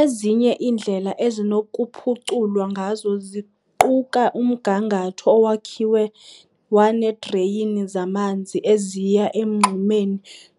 Ezinye iindlela ezinokuphuculwa ngazo ziquka umgangatho owakhiwe waneedreyini zamanzi eziya emngxumeni